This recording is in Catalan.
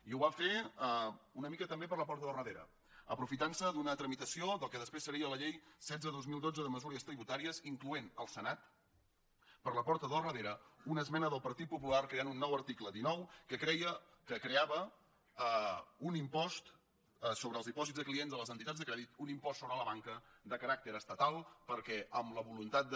i ho va fer una mica també per la porta del darrere aprofitant se d’una tramitació del que després seria la llei setze dos mil dotze de mesures tributàries incloent el senat per la porta del darrere una esmena del partit popular creant un nou article dinou que creava un impost sobre els dipòsits de clients de les entitats de crèdit un impost sobre la banca de caràcter estatal perquè amb la voluntat de